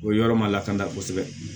O yɔrɔ ma lakana kosɛbɛ